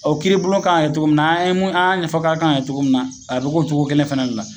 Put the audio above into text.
O kiri bulon kan ka kɛ togo mun na an ye mun an y'a ɲɛfɔ ka kan kɛ togo mun na a be cogo kelen fɛnɛ de la